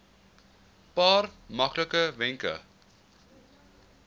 paar maklike wenke